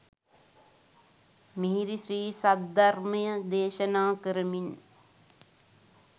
මිහිරි ශ්‍රී සද්ධර්මය දේශනා කරමින්